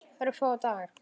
Örfáa daga.